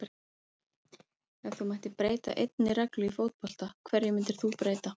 Ef þú mættir breyta einni reglu í fótbolta, hverju myndir þú breyta?